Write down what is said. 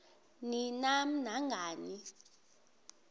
ni nam nangani